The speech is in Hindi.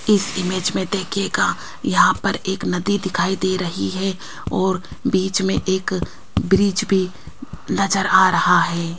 इस इमेज में देखिएगा यहां पर एक नदी दिखाई दे रही है और बीच में एक ब्रिज भी नज़र आ रहा है।